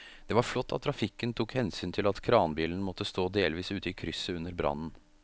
Det var flott at trafikken tok hensyn til at kranbilen måtte stå delvis ute i krysset under brannen.